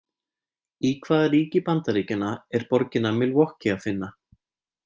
Í hvaða ríki Bandaríkjanna er borgina Milwaukee að finna?